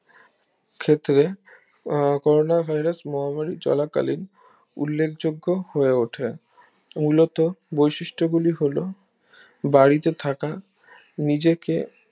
আহ corona virus মহামারী চলা কালীন উল্লেখ যোগ্য হয়ে ওঠে মূলত বৈশিষ্ট গুলি হলো বাড়িতে থাকা নিজেকে